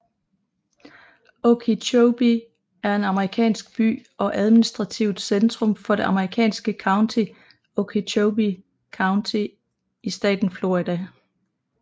Okeechobee er en amerikansk by og administrativt centrum for det amerikanske county Okeechobee County i staten Florida